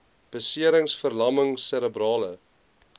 beserings verlamming serebrale